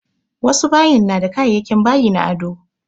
Wasu bayin na da kayayakin bayi na ado